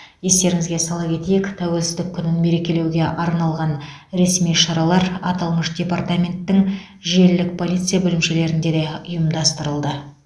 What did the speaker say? естеріңізге сала кетейік тәуелсіздік күнін мерекелеуге арналған ресми шаралар аталмыш департаменттің желілік полиция бөлімшелерінде де ұйымдастырылды